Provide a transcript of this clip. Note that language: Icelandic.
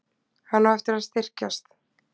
Hann á eftir að styrkjast.